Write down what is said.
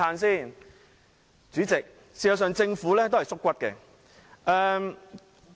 事實上，政府是"縮骨"的。